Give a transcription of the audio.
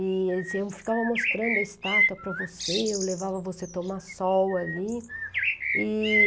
E ele dizia, eu ficava mostrando a estátua para você, eu levava você tomar sol ali. E...